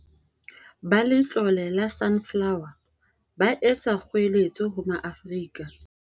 Ba Letlole la Sunflower, ba etsa kgoeletso ho Maafrika